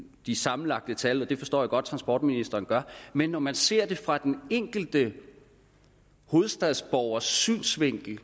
de sammenlagte tal og det forstår jeg godt transportministeren gør men når man ser det fra den enkeltes hovedstadsborgers synsvinkel